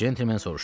Centlmen soruşdu.